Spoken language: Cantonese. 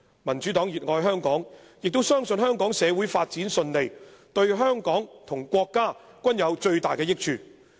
"民主黨熱愛香港，也相信香港社會發展順利對香港和國家均有最大益處。